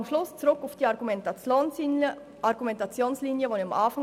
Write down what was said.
Am Schluss komme ich noch auf die am Anfang erwähnte Argumentationslinie zurück: